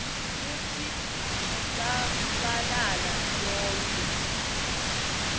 kutsi sisabalala yonkhe